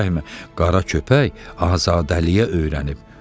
Qara köpək azadəliliyə öyrənib.